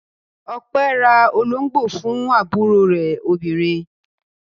Ọpẹ́ ra olóńgbò fún àbúrò rẹ̀ obìnrin.